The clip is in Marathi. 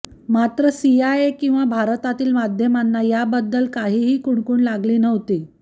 मात्र सीआयए किंवा भारतातील माध्यमांना याबद्दल काहीही कुणकूण लागली नव्हती